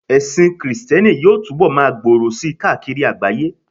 ẹsìn Kristẹni yíò tubọ ma gbòrò sí káàkiri àgbáyé